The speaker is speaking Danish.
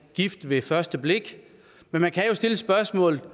gift ved første blik men man kan jo stille spørgsmålet